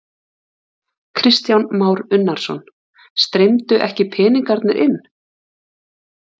Kristján Már Unnarsson: Streymdu ekki peningarnir inn?